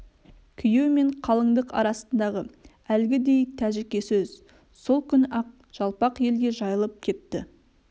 күйеу мен қалыңдық арасындағы әлгідей тәжіке сөз сол күні-ақ жалпақ елге жайылып кетті